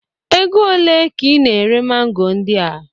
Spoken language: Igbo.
Ego ole ka ị na-ere mango ndị a?